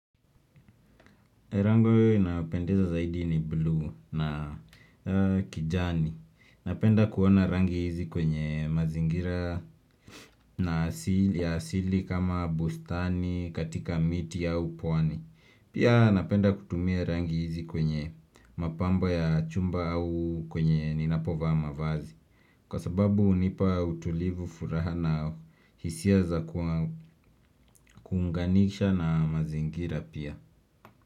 Rangi inayopendeza zaidi ni blue na kijani. Napenda kuona rangi hizi kwenye mazingira ya asili kama bustani katika miti au pwani. Pia napenda kutumia rangi hizi kwenye mapambo ya chumba au kwenye ninapovaa mavazi. Kwa sababu hunipa utulivu furaha na hisia za kuunganisha na mazingira pia.